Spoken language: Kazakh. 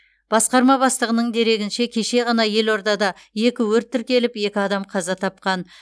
басқарма бастығының дерегінше кеше ғана елордада екі өрт тіркеліп екі адам қаза тапқан